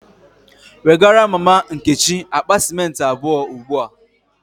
Wegara mama Nkechi akpa cimenti abuo ugbua!